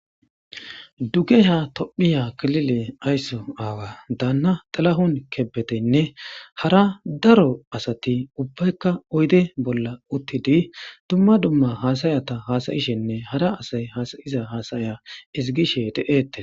duge sha tophiya klile aysso aawa daanna xalahun kebeteynne hara daro asati ubbaykka oyde bolla uttidi dumma dumma haasayata hasayishenne hara asay haasayiza haasaya ezgishe de'etes.